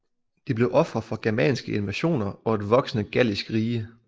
De blev ofre for germanske invasioner og et voksende gallisk rige